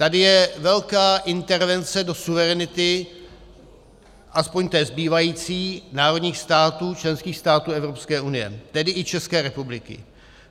Tady je velká intervence do suverenity, aspoň té zbývající, národních států, členských států Evropské unie, tedy i České republiky.